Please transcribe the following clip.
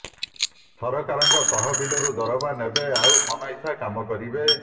ସରକାରଙ୍କ ତହବିଲରୁ ଦରମା ନେବେ ଆଉ ମନଇଛା କାମ କରିବେ